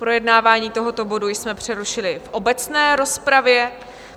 Projednávání tohoto bodu jsme přerušili v obecné rozpravě.